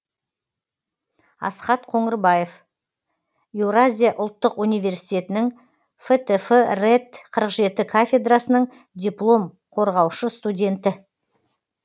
асхат қоңырбаев евразиялық ұлттық университетінің фтф рэт қырық жеті кафедрасының диплом қорғаушы студенті